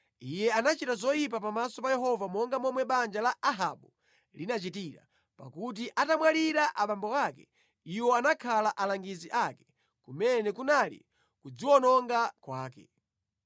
Iye anachita zoyipa pamaso pa Yehova monga momwe banja la Ahabu linachitira, pakuti atamwalira abambo ake, iwo anakhala alangizi ake, kumene kunali kudziwononga kwake.